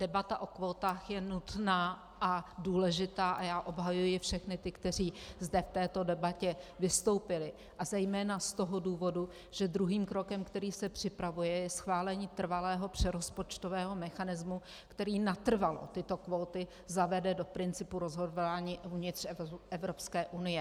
Debata o kvótách je nutná a důležitá a já obhajuji všechny ty, kteří zde v této debatě vystoupili, a zejména z toho důvodu, že druhým krokem, který se připravuje, je schválení trvalého přerozpočtového mechanismu, který natrvalo tyto kvóty zavede do principu rozhodování uvnitř Evropské unie.